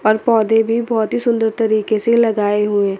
और पौधे भी बहोत ही सुंदर तरीके से लगाए हुए--